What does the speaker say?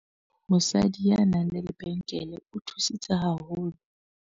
Mosadi ya nang le lebenkele o thusitse haholo.